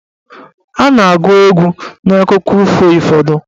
A na-agụ egwu n'akụkọ ifo ụfọdụ.